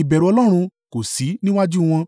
ìbẹ̀rù Ọlọ́run kò sí níwájú wọn.